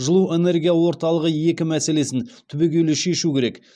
жылу энергия орталығы екі мәселесін түбегейлі шешу керек